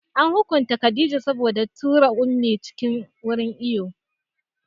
An hukunta Khadijah saboda ta tura Ummi cikin wurin iwo